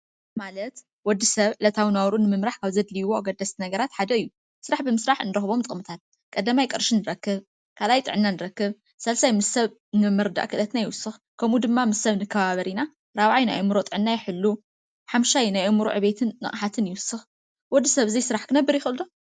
ማለት ወዲሰብ ዕለታዊ ናብሩኡ ንምምራሕ ካብ ዘድልይዎ ኣገደስቲ ነገራትሓደ እዩ፡፡ ስራሕ ብምስራሕ እንረክቦም ጥቅሚታት ቀዳማይ ቅርሺ ንረክብ፣ ካልኣይ ጥዕናና ንረክብ፣ ሳልሳይ ምስ ሰብ ንምርዳእ ክእለትና ይውስኸ፣ ከምኡውን ድማ ምስ ሰብ ንከባበር ኢና፣ ራብዓይ ናይ ኣእምሩ ጥዕና ይሕሉ፣ ሓምሻይ ናይ ኣእምሩ ዕብየትን ንቅሓት ይውስክ ወዲ ሰብ ብዘይ ስራሕ ክነብር ይክእል ዶ?